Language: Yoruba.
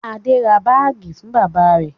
Adé ra báágì fún bàbá rẹ̀?